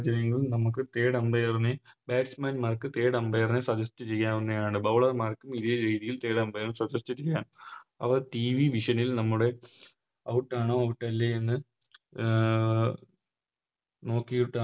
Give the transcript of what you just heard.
ഹചര്യങ്ങളിൽ നമുക്ക് Third umpire നെ Batman മാർക്ക് Third umpire മാരെ Suggest ചെയ്യാവുന്നതാണ് Bowler മാർക്കും ഇതേ രീതിയിൽ Third umpire മാരെ Suggest ചെയ്യാം അവർ TVVision ൽ നമ്മുടെ Out ആണോ Out അല്ലെ എന്ന് അഹ് നോക്കിട്ട്